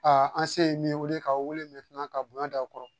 an se ye min wele k'aw wele ka bonya d'aw kɔrɔ